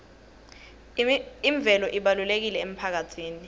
imvelo ibalulekile emphakatsini